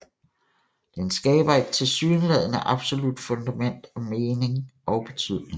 Den skaber et tilsyneladende absolut fundament af mening og betydning